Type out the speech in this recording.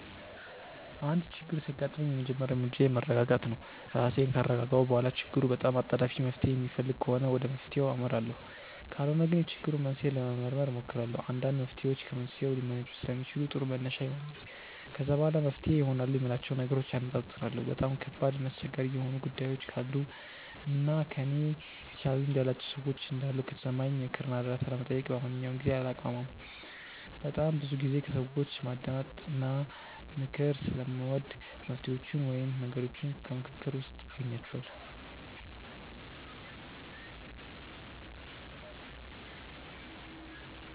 አንድ ችግር ሲያጋጥመኝ የመጀመሪያ እርምጃዬ መረጋጋት ነው። ራሴን ካረጋጋሁ በኋላ ችግሩ በጣም አጣዳፊ መፍትሔ የሚፈልግ ከሆነ ወደ መፍትሔው አመራለሁ ካልሆነ ግን የችግሩን መንስኤ ለመመርመር እሞክራለሁ። አንዳንድ መፍትሔዎች ከመንስኤው ሊመነጩ ስለሚችሉ ጥሩ መነሻ ይሆነኛል። ከዛ በኋላ መፍትሄ ይሆናሉ የምላቸውን ነገሮች አነፃፅራለሁ። በጣም ከባድ እና አስቸጋሪ የሆኑ ጉዳዮች ካሉ እና ከእኔ የተሻለ ልምድ ያላቸው ሰዎች እንዳሉ ከተሰማኝ ምክር እና እርዳታ ለመጠየቅ በማንኛውም ጊዜ አላቅማማም። በጣም ብዙ ጊዜ ከሰዎች ማዳመጥ እና ምክር ስለምወድ መፍትሔዎቹን ወይም መንገዶቹን ከምክክር ውስጥ አገኛቸዋለሁ።